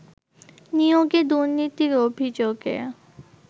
নিয়োগে দুর্নীতির অভিযোগে